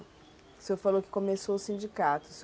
O senhor falou que começou o sindicato.